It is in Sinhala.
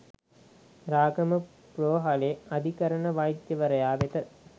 රාගම රෝහලේ අධිකරණ වෛද්‍යවරයා වෙත